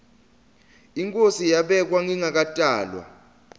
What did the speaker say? inkhosi yabekwa ngingakatalwa